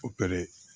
Opere